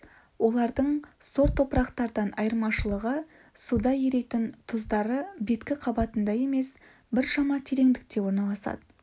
олардың сор топырақтардан айырмашылығы суда еритін тұздары беткі қабатында емес біршама тереңдікте орналасады